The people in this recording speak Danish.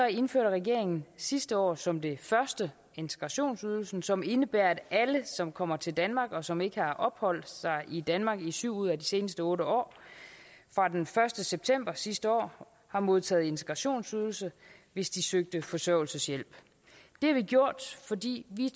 indførte regeringen sidste år som det første integrationsydelsen som indebærer at alle som kommer til danmark og som ikke har opholdt sig i danmark i syv ud af de seneste otte år fra den første september sidste år har modtaget integrationsydelse hvis de søgte forsørgelseshjælp det har vi gjort fordi vi